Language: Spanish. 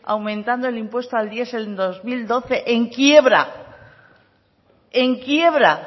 aumentando el impuesto al diesel en el dos mil doce en quiebra en quiebra